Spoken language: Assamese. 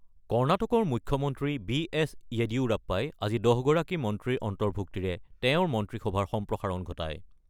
কৰ্ণাটকৰ মুখ্যমন্ত্ৰী বি এছ য়েডিয়ুৰাপ্পাই আজি ১০ গৰাকী মন্ত্ৰীৰ অন্তৰ্ভুক্তিৰে তেওঁৰ মন্ত্ৰীসভাৰ সম্প্ৰসাৰণ ঘটায়।